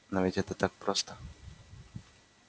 но ведь это так просто